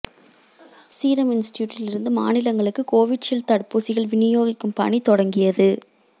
serum இன்ஸ்டிடியூட்டில் இருந்து மாநிலங்களுக்கு கோவிஷீல்டு தடுப்பூசிகள் விநியோகிக்கும் பணி தொடங்கியது